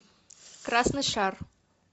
красный шар